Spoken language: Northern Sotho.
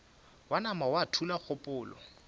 wa nama wa thula kgopolo